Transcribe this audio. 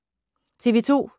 TV 2